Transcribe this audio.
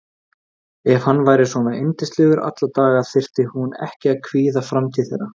Helgi tók land fyrir utan Hrísey en fyrir innan Svarfaðardal.